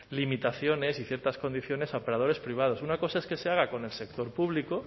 limitaciones y ciertas condiciones a operadores privados una cosa es que se haga con el sector público